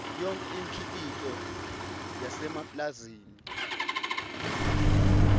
yonkhe imikhicito yasemapulazini